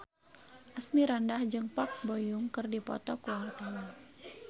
Asmirandah jeung Park Bo Yung keur dipoto ku wartawan